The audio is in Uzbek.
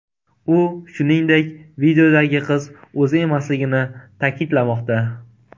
U, shuningdek, videodagi qiz o‘zi emasligini ta’kidlamoqda .